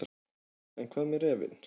En hvað með refinn.